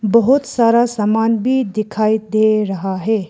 बहुत सारा सामान भी दिखाई दे रहा है।